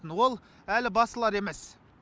ол әлі басылар емес